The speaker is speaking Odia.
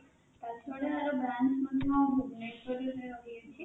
ତା ଛଡ଼ା ୟାର branch ମଧ୍ୟ ଭୁବନେଶ୍ୱର ରେ ରହୁଛି